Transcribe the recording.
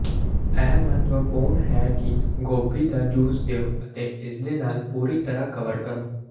ਇਹ ਮਹੱਤਵਪੂਰਣ ਹੈ ਕਿ ਗੋਭੀ ਦਾ ਜੂਸ ਦਿਉ ਅਤੇ ਇਸਦੇ ਨਾਲ ਪੂਰੀ ਤਰ੍ਹਾਂ ਕਵਰ ਕਰੋ